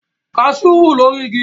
Kaṣú wù lórí igi